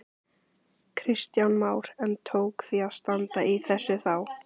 Kristján Már: En tók því að standa í þessu þá?